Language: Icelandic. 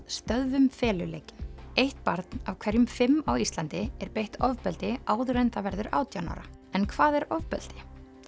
stöðvum feluleikinn eitt barn af hverjum fimm á Íslandi er beitt ofbeldi áður en það verður átján ára en hvað er ofbeldi